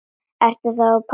Ertu þá ekki pabbi okkar?